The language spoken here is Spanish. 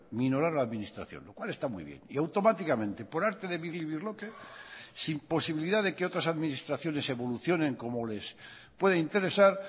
ignorar a la administración lo cual está muy bien y automáticamente por arte de birlibirloque y sin posibilidad de que otras administraciones evolucionen como les pueda interesar